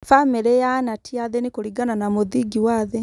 Famĩlĩ ya Ana ti athĩni kũringana na mũthingi wa thĩ.